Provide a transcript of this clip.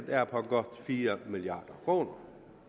er på godt fire milliard kroner